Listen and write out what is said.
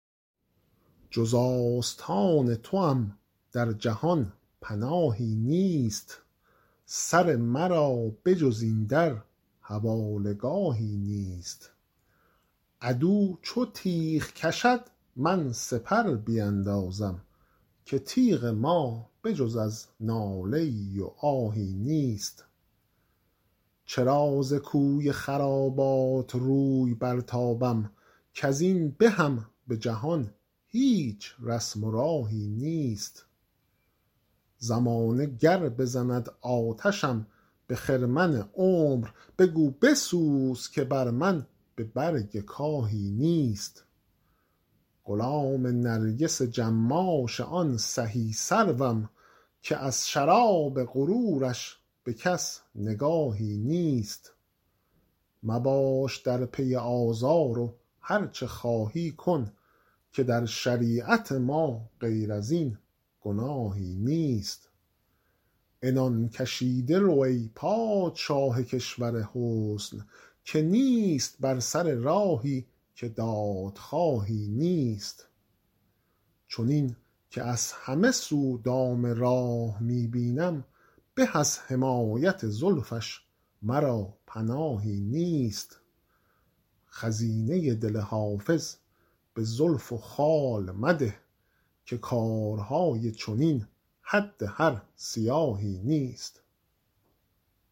جز آستان توام در جهان پناهی نیست سر مرا به جز این در حواله گاهی نیست عدو چو تیغ کشد من سپر بیندازم که تیغ ما به جز از ناله ای و آهی نیست چرا ز کوی خرابات روی برتابم کز این بهم به جهان هیچ رسم و راهی نیست زمانه گر بزند آتشم به خرمن عمر بگو بسوز که بر من به برگ کاهی نیست غلام نرگس جماش آن سهی سروم که از شراب غرورش به کس نگاهی نیست مباش در پی آزار و هرچه خواهی کن که در شریعت ما غیر از این گناهی نیست عنان کشیده رو ای پادشاه کشور حسن که نیست بر سر راهی که دادخواهی نیست چنین که از همه سو دام راه می بینم به از حمایت زلفش مرا پناهی نیست خزینه دل حافظ به زلف و خال مده که کارهای چنین حد هر سیاهی نیست